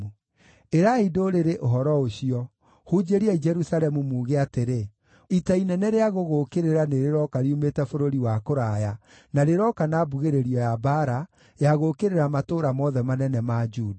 “Ĩrai ndũrĩrĩ ũhoro ũcio, hunjĩriai Jerusalemu muuge atĩrĩ: ‘Ita inene rĩa gũgũũkĩrĩra nĩrĩroka riumĩte bũrũri wa kũraya, na rĩroka na mbugĩrĩrio ya mbaara ya gũũkĩrĩra matũũra mothe manene ma Juda.